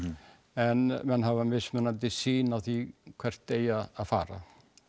en menn hafa mismunandi sýn á því hvert eigi að fara